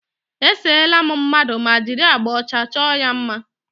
E seela m mmadụ ma jiri agbà ọcha chọọ ya mma.